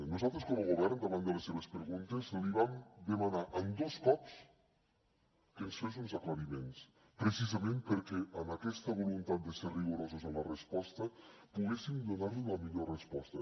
nosaltres com a govern davant de les seves preguntes li vam demanar dos cops que ens fes uns aclariments precisament perquè en aquesta voluntat de ser rigorosos en la resposta poguéssim donar li la millor resposta